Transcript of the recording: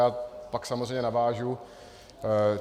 Já pak samozřejmě navážu.